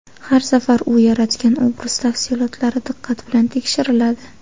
Har safar u yaratgan obraz tafsilotlari diqqat bilan tekshiriladi.